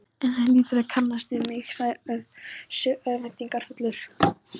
En hann hlýtur að kannast við mig, sagði Össur örvæntingarfullur.